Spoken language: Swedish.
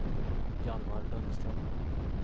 Hjalmar Lundström